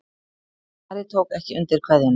Ari tók ekki undir kveðjuna.